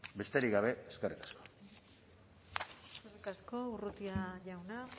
besterik gabe eskerrik asko eskerrik asko urrutia jauna